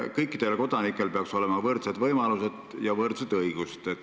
Kõikidel kodanikel peaks olema võrdsed võimalused ja võrdsed õigused.